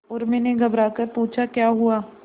उर्मी ने घबराकर पूछा क्या हुआ